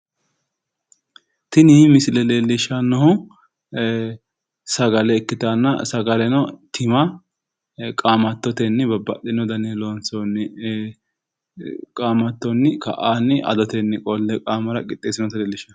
Tini misile leellishanno sagale ikkitanna sagalete danino tima babbaxxino dani qaamattonni qixxeessinoonniha leellishanno